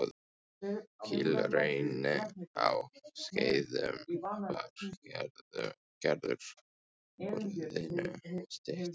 Kílhrauni á Skeiðum var gerður höfðinu styttri.